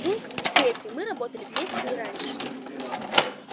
пункт третий мы работали вместе и раньше